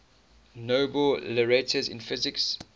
nobel laureates in physics